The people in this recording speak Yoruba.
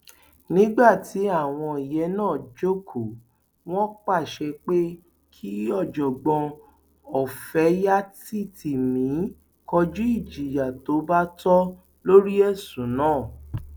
nígbà tí àwọn yẹn náà jókòó wọn pàṣẹ pé kí ọjọgbọn ọfẹyàtìtìmì kọjú ìjìyà tó bá tọ lórí ẹsùn náà